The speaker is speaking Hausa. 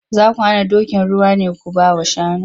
Za ku hana dokin ruwa ne ku ba wa shanu?